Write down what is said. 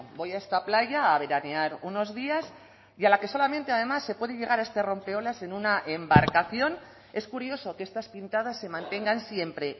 voy a esta playa a veranear unos días y a la que solamente además se puede llegar a este rompeolas en una embarcación es curioso que estas pintadas se mantengan siempre